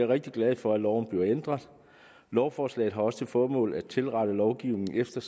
rigtig glad for at loven bliver ændret lovforslaget har også til formål at tilrette lovgivningen efter